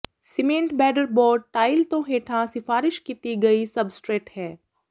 cement backer board tile ਤੋਂ ਹੇਠਾਂ ਸਿਫਾਰਸ਼ ਕੀਤੀ ਗਈ ਸਬਸਟਰੇਟ ਹੈ